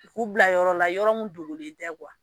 K'u bila yɔrɔ la, yɔrɔ min dogolen tɛ